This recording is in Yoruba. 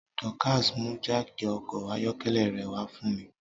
Dorcas mú jáákí ọkọ̀ ayọ́kẹ́lẹ́ rẹ̀ wá fún mi